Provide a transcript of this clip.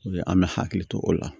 O ye an bɛ hakili to o la